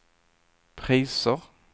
priser